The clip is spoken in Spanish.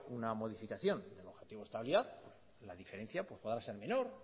una modificación del objetivo de estabilidad pues la diferencia va a ser menor